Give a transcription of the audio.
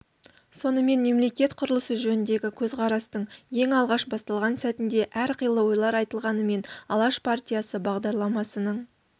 сонымен мемлекет құрылысы жөніндегі көзқарастың ең алғаш басталған сәтінде әр қилы ойлар айтылғанымен алаш партиясы бағдарламасының